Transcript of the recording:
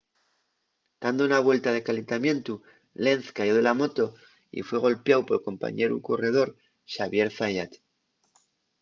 tando na vuelta de calentamientu lenz cayó de la moto y fue golpiáu pol compañeru corredor xavier zayat